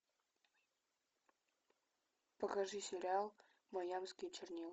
покажи сериал майамские чернила